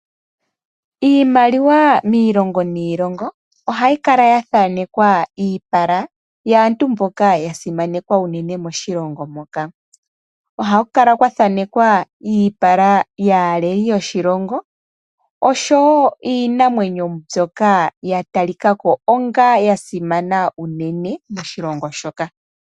Iimaliwa miilongo niilongo ohayi kala ya thanekwa iipala yaantu mboka ya simana moshilongo shoka. Ohaku kala kwa thanekwa iipala yaaleli yoshilongo oshowo iinamwenyo mbyoka ya talika ko onga ya simana unene moshilongo shoka.